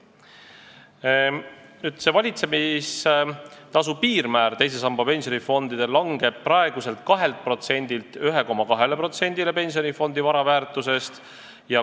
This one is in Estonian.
Teise samba pensionifondide valitsemistasu piirmäär langeb praeguselt 2%-lt 1,2%-le pensionifondi vara väärtusest.